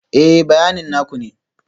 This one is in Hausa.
Ee, bayanin na ku ne